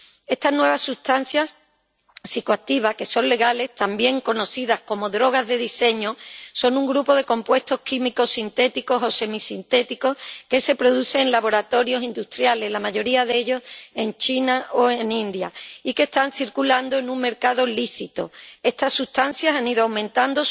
Estas nuevas sustancias psicoactivas que son legales, también conocidas como drogas de diseño, son un grupo de compuestos químicos sintéticos o semisintéticos que se producen en laboratorios industriales, la mayoría de ellos en China o en India, y que están circulando en un mercado lícito. La popularidad de estas sustancias ha ido aumentando